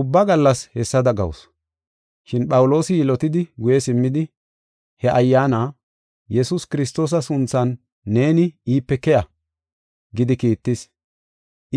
Ubba gallas hessada gawusu. Shin Phawuloosi yilotidi guye simmidi, he ayyaana, “Yesuus Kiristoosa sunthan neeni iipe keya” gidi kiittis.